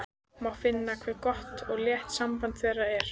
Má finna hve gott og létt samband þeirra er.